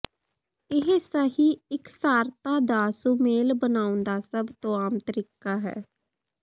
ਇਹ ਸਹੀ ਇਕਸਾਰਤਾ ਦਾ ਸੁਮੇਲ ਬਣਾਉਣ ਦਾ ਸਭ ਤੋਂ ਆਮ ਤਰੀਕਾ ਹੈ